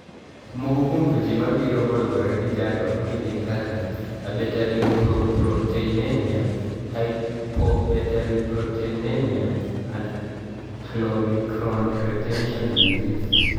Moko kuom tuoche mabiro koluwore gi chandruok ni gin kaka abetalipoproteinemia, hypobetalipoproteinemia, and chylomicron retention disease.